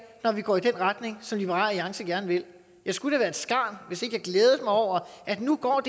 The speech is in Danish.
når vi går i den retning som liberal alliance gerne vil jeg skulle da være et skarn hvis ikke jeg glædede mig over at nu går